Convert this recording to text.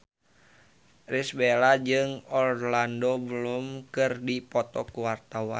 Irish Bella jeung Orlando Bloom keur dipoto ku wartawan